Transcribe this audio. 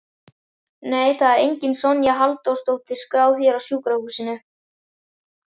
Nei, það er engin Sonja Halldórsdóttir skráð hér á sjúkrahúsinu